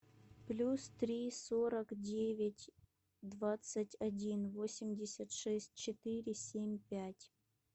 плюс три сорок девять двадцать один восемьдесят шесть четыре семь пять